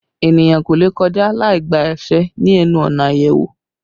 Èniyàn kò lè kọjá láì gba àṣẹ ni ẹnu ọ̀nà ayẹwo